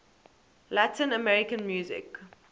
latin american music